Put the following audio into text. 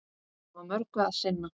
Hafa mörgu að sinna.